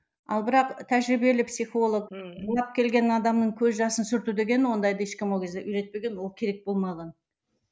ал бірақ тәжірибелі психолог келген адамның көз жасын сүрту деген ондайды ешкім ол кезде үйретпеген ол керек болмаған